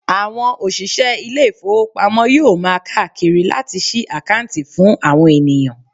Àwọn òṣìṣẹ́ ilé ìfowópamọ́ yóò máa káàkiri láti sí àkáǹtì fún àwọn ènìyàn.